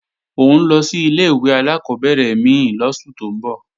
Ó ń lọ sí ilé-ìwé alákọ́bẹ̀rẹ̀ mí lóṣù tó ń bọ̀